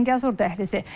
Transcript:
Zəngəzur dəhlizi.